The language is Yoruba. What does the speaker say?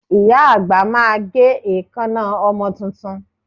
Ìyá àgbà máa gé èékánná ọmọ tuntun